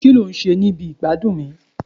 ki lo n ṣe ni ibi igbadun mi